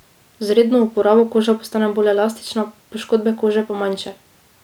Z redno uporabo koža postane bolj elastična, poškodbe kože pa manjše.